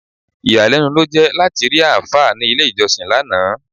Ìyàlẹ́nu ló jẹ́ láti rí àáfà ní ilé-ìjọ́sìn lánàá.